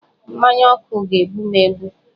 Mmanya ọkụ ga-egbu m egbu